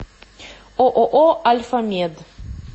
ооо альфамед